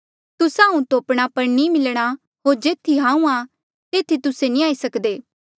तुस्सा हांऊँ तोपणा पर नी मिलणा होर जेथी हांऊँ आ तेथी तुस्से नी आई सक्दे